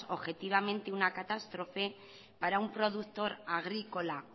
objetivamente una catástrofe para un productor agrícola